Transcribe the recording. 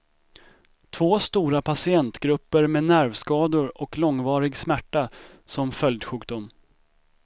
Två stora patientgrupper med nervskador och långvarig smärta som följdsjukdom.